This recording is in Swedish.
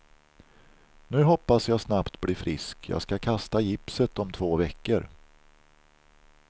Nu hoppas jag snabbt bli frisk, jag ska kasta gipset om två veckor.